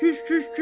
Küş, küş, küş!